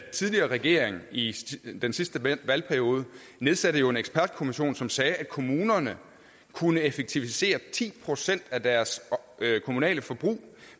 tidligere regering i den sidste valgperiode nedsatte jo en ekspertkommission som sagde at kommunerne kunne effektivisere ti procent af deres kommunale forbrug